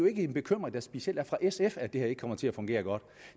er en bekymring der specielt er fra sf at det her ikke skulle komme til at fungere godt